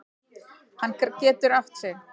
Hann getur átt sig.